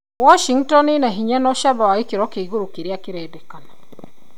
Washhngton ĩna binya na ũcamba wa gĩkiro kĩa igũrũ kĩrĩa kĩrendeka